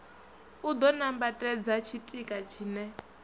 u ḓo nambatedza tshitika tshine